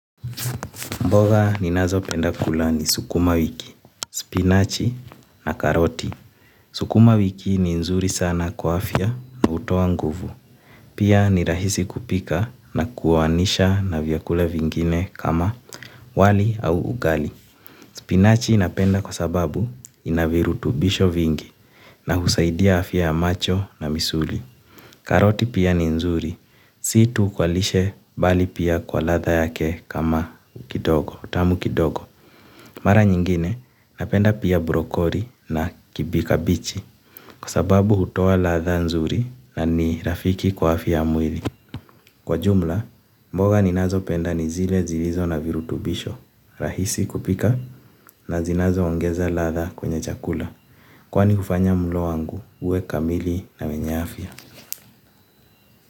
Mboga ninazopenda kula ni sukumawiki, spinachi na karoti. Sukuma wiki ni nzuri sana kwa afya na hutoa nguvu. Pia ni rahisi kupika na kuoanisha na vyakula vingine kama wali au ugali. Spinachi napenda kwa sababu ina virutubisho vingi na husaidia afya ya macho na misuli. Karoti pia ni nzuri. Si tu kwa lishe bali pia kwa ladha yake kama utamu kidogo. Mara nyingine, napenda pia brokoli na kabichi kwa sababu hutoa ladha nzuri na ni rafiki kwa afya ya mwili. Kwa jumla, mboga ninazopenda ni zile zilizo na virutubisho, rahisi kupika na zinazoongeza ladha kwenye chakula. Kwani hufanya mlo wangu, uwe kamili na wenye afya.